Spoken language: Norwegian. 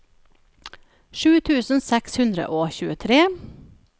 sju tusen seks hundre og tjuetre